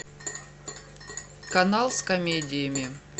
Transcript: канал с комедиями